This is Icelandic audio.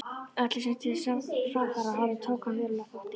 Öllu, sem til framfara horfði, tók hann verulegan þátt í.